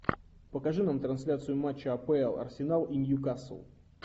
покажи нам трансляцию матча апл арсенал и ньюкасл